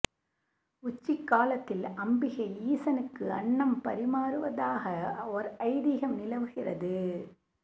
உச்சிக்காலத்தில் அம்பிகை ஈசனுக்கு அன்னம் பரிமாறுவதாக ஒரு ஐதீகம் நிலவுகிறது